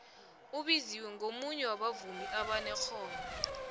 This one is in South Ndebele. ubiziwe ngomunye wabavumi abanexhono